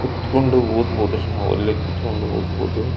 ಕುತಕೊಂಡ್ ಓದಬಹುದುರಿ ನಾವು ಅಲ್ಲೆ ಕುತಕೊಂಡ್ ಓದಬಹುದು.